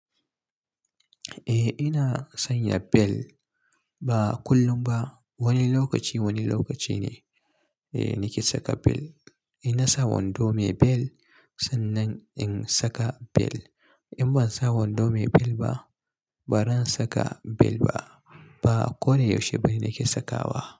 Eh ina sanya bel, ba kullum ba wani lokaci wani lokaci ne nake saka bel. In na sa wando mai bel sannan in saka bel. In ban sa wando mai bel ba, ba zan saka bel ba. Ba ko dai yaushe bane nake sakawa.